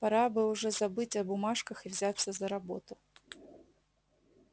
пора бы уже забыть о бумажках и взяться за работу